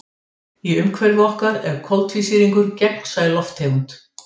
Í umhverfi okkar er koltvísýringur gegnsæ lofttegund.